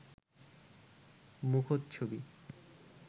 মুখোচ্ছবি